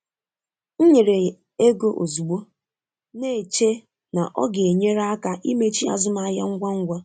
M nyere ego ozugbo, na-eche na ọ ga-enyere aka imechi azụmahịa ngwa ngwa.